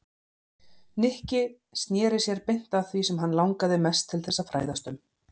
Nikki snéri sér beint að því sem hann langaði mest til þess að fræðast um.